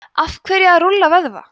af hverju að rúlla vöðva